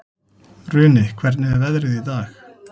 Runi, hvernig er veðrið í dag?